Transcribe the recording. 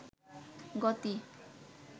গতি